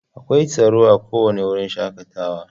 Akwai tsaro a kowane wurin shakatawa.